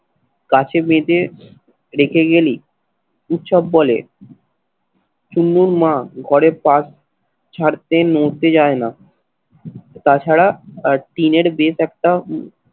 গাছে বেঁধে রেখে গেলি উৎসব বলে ছুন্নর মা ঘরে পাশ ছাড়তে নড়তে যায় না তা ছাড়া আর টিনের বেশ একটা